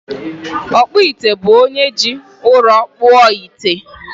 Ọkpụite bụ onye ji ụrọ kpụọ ite